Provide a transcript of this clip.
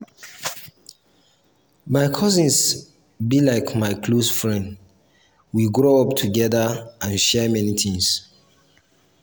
my cousin be like my close friend we grow up togeda and share many tins.